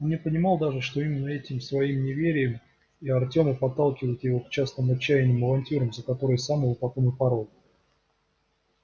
он и не понимал даже что именно этим своим неверием и артема подталкивает его к частым отчаянным авантюрам за которые сам его потом и порол